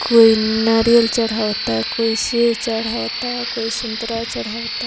कोई नारियल चढ़ावता कोई सेब चढ़ावता कोई संतरा चढ़ावता ।